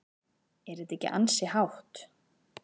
Er þetta ekki ansi hátt?